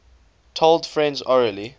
told friends orally